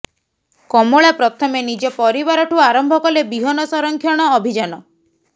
କମଳା ପ୍ରଥମେ ନିଜ ପରିବାରଠୁ ଆରମ୍ଭ କଲେ ବିହନ ସଂରକ୍ଷଣ ଅଭିଯାନ